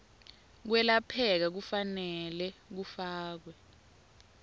kwelapheka kufanele kufakelwe